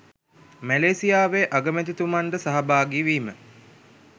මැලේසියාවේ අගමැතිතුමන් ද සහභාගී වීම